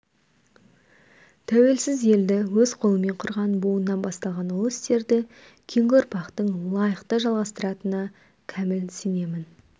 тәуелсіз елді өз қолымен құрған буыннан басталған ұлы істерді кейінгі ұрпақтың лайықты жалғастыратынына кәміл сенемін